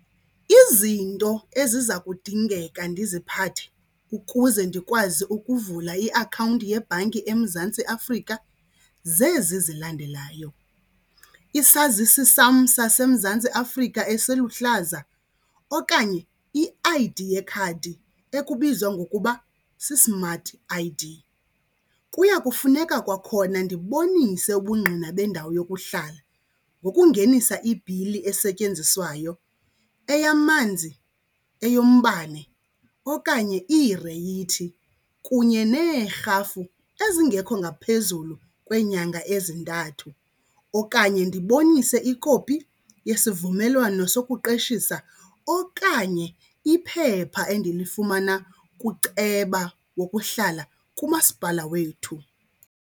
Izinto eziza kudingeka ndiziphathe ukuze ndikwazi ukuvula iakhawunti yebhanki eMzantsi Afrika zezi zilandelayo, isazisi sam saseMzantsi Afrika esiluhlaza okanye i-I_D yekhadi ekubizwa ngokuba si-smart I_D. Kuya kufuneka kwakhona ndibonise ubungqina bendawo yokuhlala ngokungenisa ibhili esetyenziswayo eyamanzi, eyombane okanye iireyithi kunye neerhafu ezingekho ngaphezulu kweenyanga ezintathu. Okanye ndibonise ikopi yesivumelwano sokuqeshisa okanye iphepha endilifumana kuceba wokuhlala kumasipala wethu.